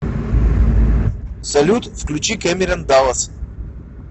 салют включи кэмерон даллас